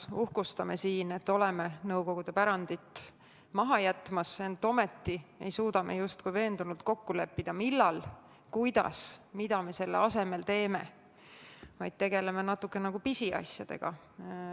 Me uhkustame siin, et oleme Nõukogude pärandit maha jätmas, ent ometi ei suuda me justkui veendunult kokku leppida, millal, kuidas, mida me selle asemel teeme, vaid tegeleme natukene nagu pisiasjadega.